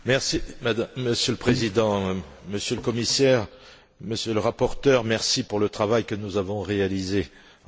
Monsieur le Président, Monsieur le Commissaire, Monsieur le Rapporteur, merci pour le travail que nous avons réalisé ensemble.